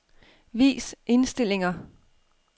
Vis indstillinger.